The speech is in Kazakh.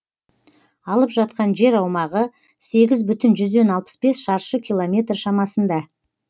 алып жатқан жер аумағы сегіз бүтін жүзден алпыс бес шаршы километр шамасында